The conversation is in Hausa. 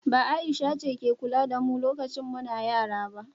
ba Aisha ce ke kula da mu lokacin muna yara ba?